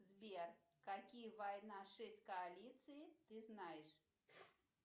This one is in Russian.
сбер какие война шесть коалиции ты знаешь